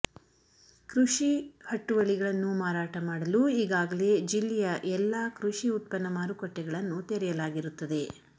ಕೃಷಿ ಹಟ್ಟುವಳಿಗಳನ್ನು ಮಾರಾಟ ಮಾಡಲು ಈಗಾಗಲೇ ಜಿಲ್ಲೆಯ ಎಲ್ಲಾ ಕೃಷಿ ಉತ್ಪನ್ನ ಮಾರುಕಟ್ಟೆಗಳನ್ನು ತೆರೆಯಲಾಗಿರುತ್ತದೆ